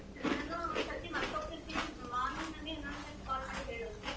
ನಾನು ಒಂದೊಂದು ಸರ್ತಿ ಮರ್ತ್ ಹೋಗ್ತಾ ಇರ್ತೀನಿ morning ನಂಗೆ ಇನ್ನೊಂದು time call ಮಾಡಿ ಹೇಳು .